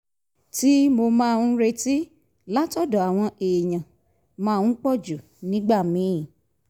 tí mo máa ń retí látọ̀dọ̀ àwọn èèyàn máa ń pòjù nígbà míì